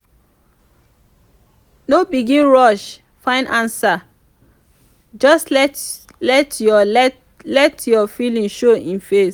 no begin rush find ansa just let yur let yur feeling show e face